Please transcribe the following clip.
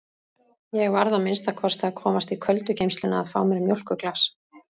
Ég varð að minnsta kosti að komast í köldu geymsluna að fá mér mjólkurglas!